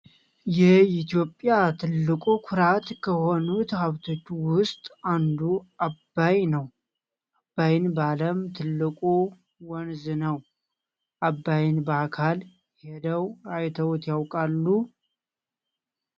የኢትዮጵያ ትልቁ ኩራት ከሆኑት ሃብቶች ውስጥ አንዱ አባይ ነው። አባይ በአለም ትልቁ ወንዝ ነው። አባይን በአካል ሄደው አይተውይ ያውቃሉ ?